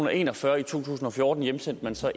og en og fyrre i to tusind og fjorten hjemsendte man så